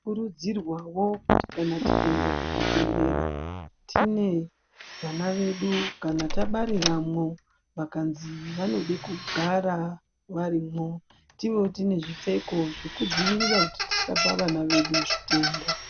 Tinokurudzirwawo kuti kana tikaenda kuzvibhedhlera tine vana vedu kana tabariramo tikanzi vanode kugara varimwo tive tine zvipfeko zvekudzivirira kuti tisapa vana vedu zvitenda.